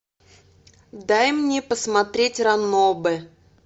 дай мне посмотреть ранобэ